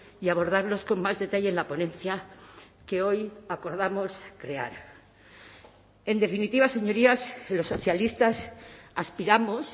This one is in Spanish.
y abordarlos con más detalle en la ponencia que hoy acordamos crear en definitiva señorías los socialistas aspiramos